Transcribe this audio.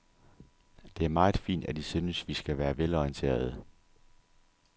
Det er meget fint, at I synes, vi skal være velorienterede.